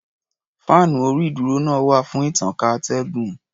Fáànú orí-ìdúró náà wà fún ìtànká atẹ́gùn.